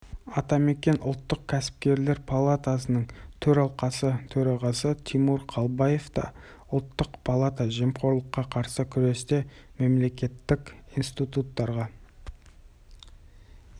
екенін естен шығармауы тиіс енді агенттіктің аумақтық бөлімшелерінің басшылары бизнесті шенеуніктердің жөнсіз килігуінен қорғауы тұрғысынан